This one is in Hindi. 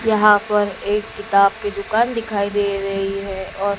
यहां पर एक किताब की दुकान दिखाई दे रही है और--